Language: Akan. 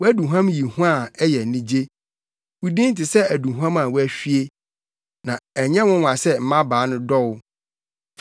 Wʼaduhuam yi hua a ɛyɛ anigye; wo din te sɛ aduhuam a wɔahwie. Na ɛnyɛ nwonwa sɛ mmabaa no dɔ wo!